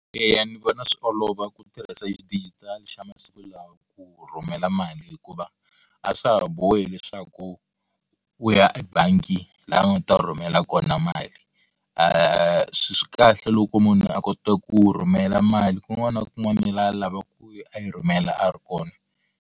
Eya ni vona swi olova ku tirhisa xidigitali xa masiku lawa ku rhumela mali hikuva a swa ha bohi leswaku u ya ebangi laha u nga ta rhumela kona mali swi kahle loko munhu a kota ku rhumela mali kun'wana na kun'wana la a lavaka ku a yi rhumela a ri kona.